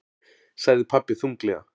sagði pabbi þunglega.